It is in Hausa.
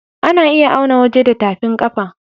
A na iya auna waje da tafin kafa